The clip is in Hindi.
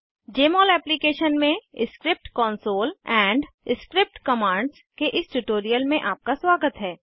जमोल एप्लीकेशन में script console and script commands के इस ट्यूटोरियल में आपका स्वागत है